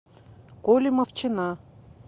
коли мовчана